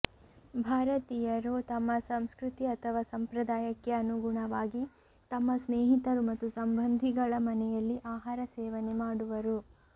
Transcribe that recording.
ಭಾರತೀಯರು ತಮ್ಮ ಸಂಸ್ಕೃತಿ ಅಥವಾ ಸಂಪ್ರದಾಯಕ್ಕೆ ಅನುಗುಣವಾಗಿ ತಮ್ಮ ಸ್ನೇಹಿತರು ಮತ್ತು ಸಂಬಂಧಿಗಳ ಮನೆಯಲ್ಲಿ ಆಹಾರ ಸೇವನೆ ಮಾಡುವರು